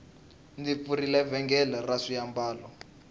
ndzi pfurile vhengele ra swiambalo